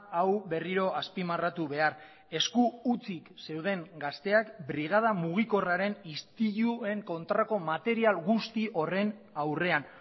hau berriro azpimarratu behar esku hutsik zeuden gazteak brigada mugikorraren istiluen kontrako material guzti horren aurrean